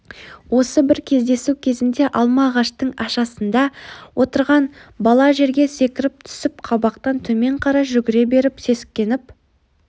осы бір кездесу кезінде алма ағаштың ашасында отырған бала жерге секіріп түсіп қабақтан төмен қарай жүгіре беріп сескеніп